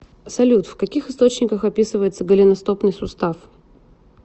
салют в каких источниках описывается голеностопный сустав